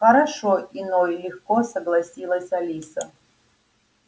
хорошо иной легко согласилась алиса